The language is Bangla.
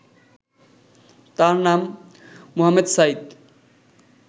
তার নাম, মোহামেদ সাইদ